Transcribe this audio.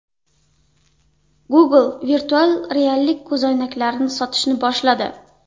Google virtual reallik ko‘zoynaklarini sotishni boshladi.